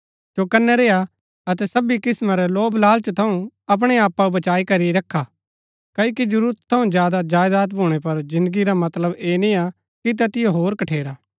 चौकनै रेआ अतै सबी किस्‍मां रै लोभलालच थऊँ अपणै आपाओ बचाई करी रखा क्ओकि जरूरता थऊँ ज्यादा जायदात भूणै पर जिन्दगी रा मतलब ऐह निआ कि तैतिओ होर कठेरा